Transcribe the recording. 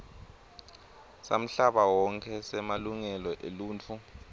samhlabawonkhe semalungelo eluntfu